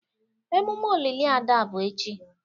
Emume olili Ada bụ echi.